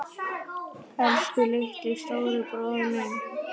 Elsku litli, stóri bróðir minn.